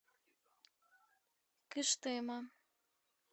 кыштыма